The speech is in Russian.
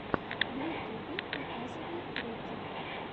в ютубе показывай треки